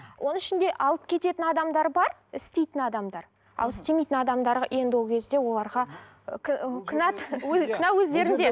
оның ішінде алып кететін адамдар бар істейтін адамдар ал істемейтін адамдар енді ол кезде оларға ы ы кінә өздерінде